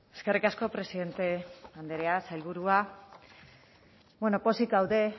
eskerrik asko presidente andrea sailburua bueno pozik gaude